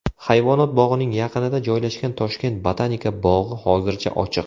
Hayvonot bog‘ining yaqinida joylashgan Toshkent botanika bog‘i hozircha ochiq .